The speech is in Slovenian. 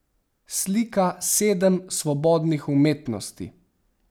Slika sedem svobodnih umetnosti.